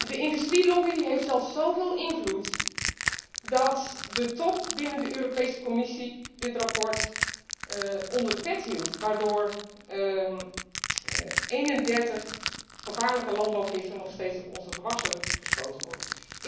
De industrielobby heeft zelfs zoveel invloed dat de top binnen de Europese Commissie dit rapport doelbewust onder de pet hield, waardoor 31 gevaarlijke landbouwgiffen nog steeds op onze gewassen gespoten worden.